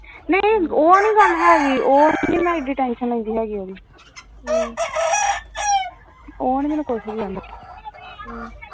ਉਹ ਨੀ ਗਲ ਹੈਗੀ ਉਹ ਨੀ ਮੈਂ tension ਲੈਦੀ ਉਹ ਨੀ ਮੈਨੂੰ ਕੁਝ ਕਹਿੰਦਾ